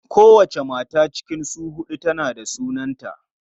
Kowace mata cikin su huɗun tana da sunanta.